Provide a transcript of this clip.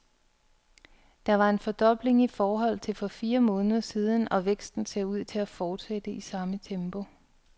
Det var en fordobling i forhold til for fire måneder siden, og væksten ser ud til at fortsætte i samme tempo.